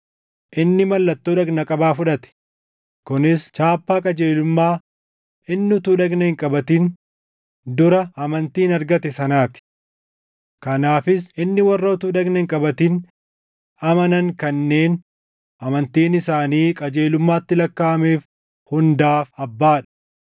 Inni mallattoo dhagna qabaa fudhate; kunis chaappaa qajeelummaa inni utuu dhagna hin qabatin dura amantiin argate sanaa ti. Kanaafis inni warra utuu dhagna hin qabatin amanan kanneen amantiin isaanii qajeelummaatti lakkaaʼameef hundaaf abbaa dha.